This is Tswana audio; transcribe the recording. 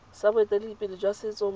sa boeteledipele jwa setso mo